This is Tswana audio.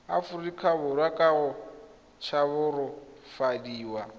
aforika borwa ka go tshabafadiwa